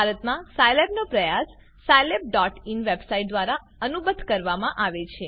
ભારતમાં સાયલેબનો પ્રયાસ scilabઇન વેબસાઈટ દ્વારા અનુબદ્ધ કરવામાં આવે છે